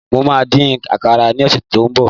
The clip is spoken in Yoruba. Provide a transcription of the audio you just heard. mo ma din àkàrà ni ọsẹ tínbọ̀